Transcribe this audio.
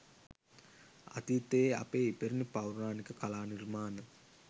අතිතයේ අපේ ඉපැරණි පෞරාණික කලා නිර්මාණ